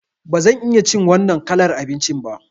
Ba zan iya cin wannan kalar abincin ba.